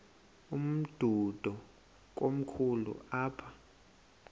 umdudo komkhulu apha